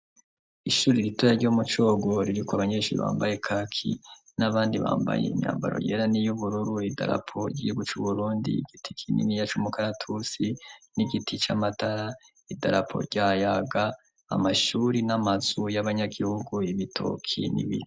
Ishuri ritoya ryomu Cogo ririko abanyesuri bambaye kaki n'abandi bambaye imyambaro yera n'iyo ubururu, idarapo yigihugu c'Uburundi, igiti kinini c'umukaratusi n'igiti c'amatara, idarapo rya yaga amashuri n'amazu y'abanyagihugu, ibitoki n'ibindi.